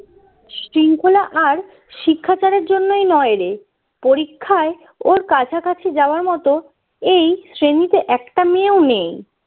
শৃঙ্খলা আর শিক্ষাচারের জন্যই নয় রে পরীক্ষায় ওর কাছাকাছি যাওয়ার মতো এই শ্রেণীতে একটা মেয়েও নেই